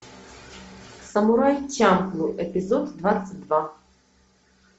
самурай чамплу эпизод двадцать два